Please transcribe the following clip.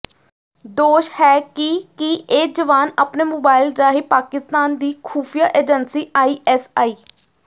ਦੋਸ਼ ਹੈ ਕਿ ਕਿ ਇਹ ਜਵਾਨ ਆਪਣੇ ਮੋਬਾਈਲ ਰਾਹੀਂ ਪਾਕਿਸਤਾਨ ਦੀ ਖੁਫੀਆ ਏਜੰਸੀ ਆਈਐਸਆਈ